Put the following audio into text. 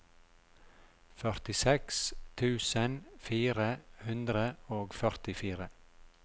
førtiseks tusen fire hundre og førtifire